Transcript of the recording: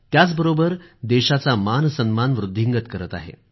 त्याचबरोबर देशाचा मानसन्मान वृध्दिंगत करत आहे